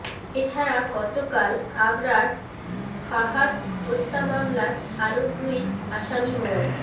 এ ছাড়া গতকাল আবরার ফাহাদ হত্যা মামলার আরো দুই আসামি মো